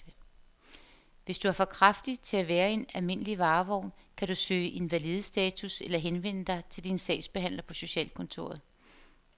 Hvis du er for kraftig til at være i en almindelig varevogn, kan du kan søge invalidestatus eller henvende dig til din sagsbehandler på socialkontoret.